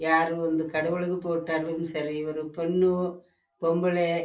யாரு சாமிகு மட்டும் பொம்பள பொண்ணு